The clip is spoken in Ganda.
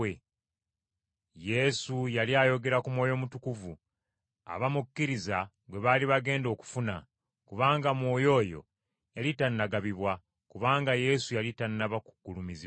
Yesu yali ayogera ku Mwoyo Mutukuvu, abamukkiriza gwe baali bagenda okufuna, kubanga Mwoyo oyo yali tannagabibwa, kubanga Yesu yali tannaba kugulumizibwa.